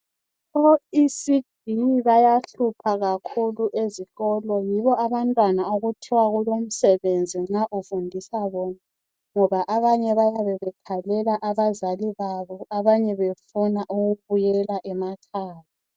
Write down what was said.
O "ECD" bayahlupha kakhulu ezikolo yibo abantwana okuthiwa kulomsebenzi nxa ufundisa bona ngoba abanye bayabe bekhalela abazali babo abanye befuna ukubuyela emakhaya.